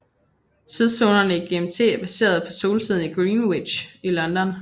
Tidszonerne i GMT er baseret på soltiden i Greenwich i London